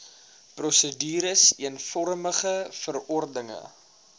prosedures eenvormige verordenige